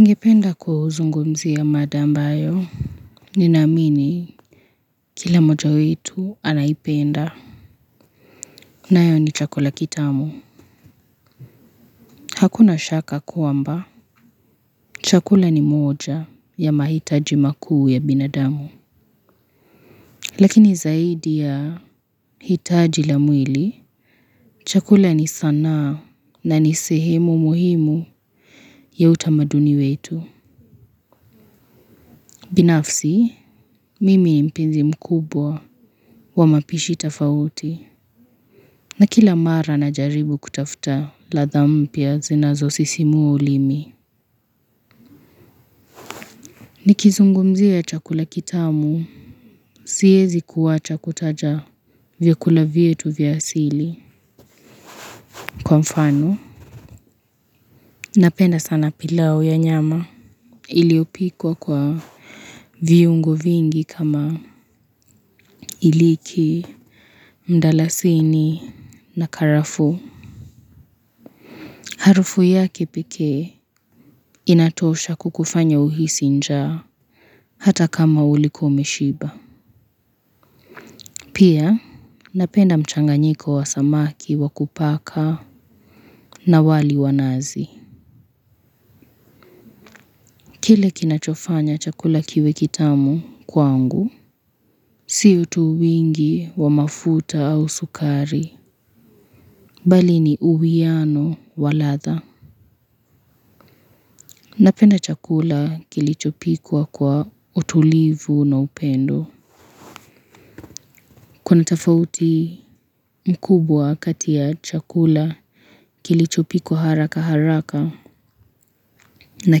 Ningependa kuzungumzia mada ambayo, ninaamini kila moja wetu anaipenda, nayo ni chakula kitamu. Hakuna shaka kwamba, chakula ni moja ya mahitaji makuu ya binadamu. Lakini zaidi ya hitaji la mwili, chakula ni sanaa na ni sehemu muhimu ya utamaduni wetu. Binafsi, mimi mpenzi mkubwa wa mapishi tafauti na kila mara najaribu kutafuta radha mpya zinazo sisimua ulimi. Nikizungumzia chakula kitamu, siwezi kuacha kutaja vyakula vyetu vya asili. Kwa mfano, napenda sana pilau ya nyama iliopikwa kwa viungo vingi kama hiliki, mdalasini na karafuu. Harufu yake pekee inatosha kukufanya uhisi njaa hata kama ulikuwa umeshiba. Pia napenda mchanganyiko wa samaki wa kupaka na wali wa nazi. Kile kinachofanya chakula kiwe kitamu kwangu. Siyo tu wingi wa mafuta au sukari. Bali ni uwiano wa radha. Napenda chakula kilichopikwa kwa utulivu na upendo. Kuna tafauti mkubwa kati ya chakula kilichopikwa haraka haraka na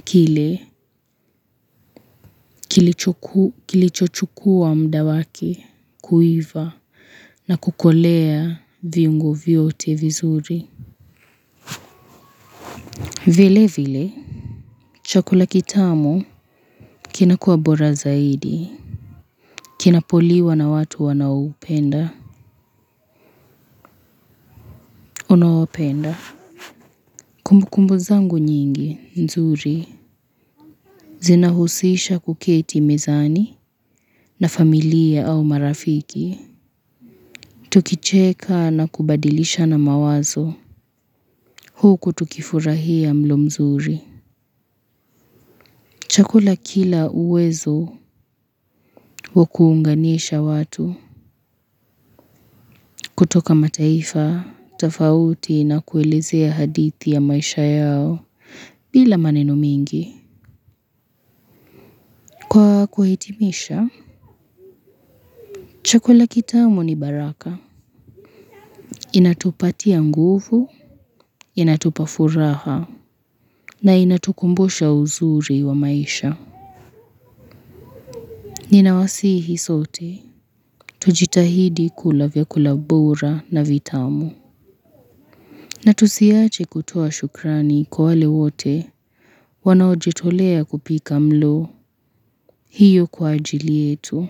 kile kilicho chukua muda wake kuiva na kukolea viungo vyote vizuri. Vile vile, chakula kitamu kinakuwa bora zaidi, kinapoliwa na watu unaowapenda. Kumbukumbu zangu nyingi, nzuri, zinahusisha kuketi mezani na familia au marafiki. Tukicheka na kubadilishana mawazo, huku tukifurahia mlo mzuri. Chakula kina uwezo wa kuunganisha watu kutoka mataifa, tafauti na kuelezea hadithi ya maisha yao bila maneno mengi. Kwa kuhitimisha, chakula kitamu ni baraka. Inatupatia nguvu, inatupa furaha na inatukumbusha uzuri wa maisha. Ninawasihi sote, tujitahidi kula vyakula bora na vitamu. Na tusiache kutoa shukrani kwa wale wote wanaojitolea kupika mlo hiyo kwa ajili yetu.